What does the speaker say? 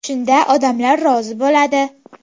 Shunda odamlar rozi bo‘ladi.